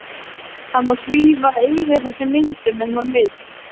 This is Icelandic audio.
Hann má svífa yfir þessum myndum ef hann vill.